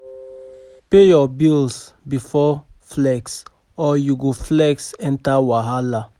Pay your bills before flex, or you go flex enter wahala.